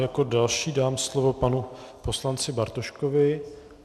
Jako další dám slovo panu poslanci Bartoškovi.